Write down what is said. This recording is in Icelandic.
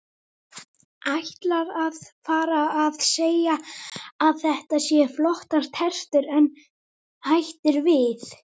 Ætlar að fara að segja að þetta séu flottar tertur en hættir við.